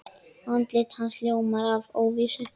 Andlit hans ljómar af óvissu.